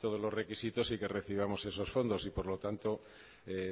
todos los requisitos y que recibamos esos fondos y por lo tanto